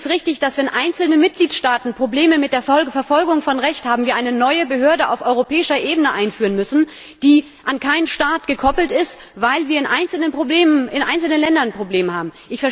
Ist es richtig, dass, wenn einzelne Mitgliedstaaten Probleme mit der Verfolgung von Rechtsbruch haben, wir eine neue Behörde auf europäischer Ebene einführen müssen, die an keinen Staat gekoppelt ist, weil wir in einzelnen Ländern Probleme haben?